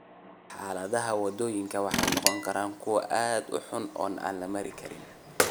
Xaaladaha waddooyinku waxay noqon karaan kuwo aad u xun oo aan la mari karin.